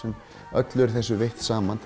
öllu er þessu veitt saman